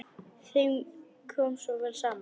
Þeim kom svo vel saman.